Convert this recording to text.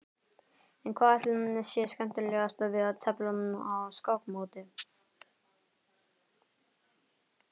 En hvað ætli sé skemmtilegast við að tefla á skákmóti?